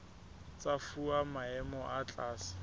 tsa fuwa maemo a tlase